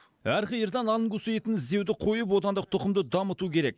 әр қиырдан ангус етін іздеуді қойып отандық тұқымды дамыту керек